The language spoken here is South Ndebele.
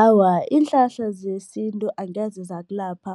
Awa, iinhlahla zesintu angeze zakulapha